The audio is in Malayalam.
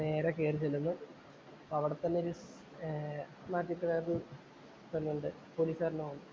നേരെ കേറിചെല്ലുന്നു. അവിടത്തന്നെ ഒരു പെണ്ണുണ്ട്. പോലീസുകാരന്‍റെ മോള്.